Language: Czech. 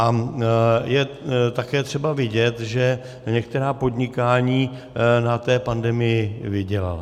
A je také třeba vidět, že některá podnikání na té pandemii vydělala.